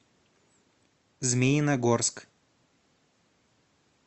змеиногорск